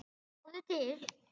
Sjáðu til.